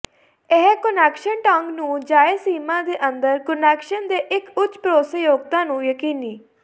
ਇਹ ਕੁਨੈਕਸ਼ਨ ਢੰਗ ਨੂੰ ਜਾਇਜ਼ ਸੀਮਾ ਦੇ ਅੰਦਰ ਕੁਨੈਕਸ਼ਨ ਦੇ ਇੱਕ ਉੱਚ ਭਰੋਸੇਯੋਗਤਾ ਨੂੰ ਯਕੀਨੀ